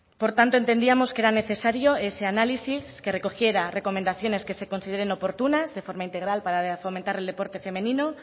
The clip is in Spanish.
por tanto entendíamos que era necesario ese análisis que recogiera recomendaciones que se consideren oportunas de forma integral para fomentar el deporte femenino